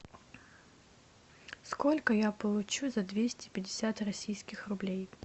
сколько я получу за двести пятьдесят российских рублей